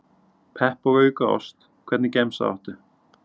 Pepp og auka ost Hvernig gemsa áttu?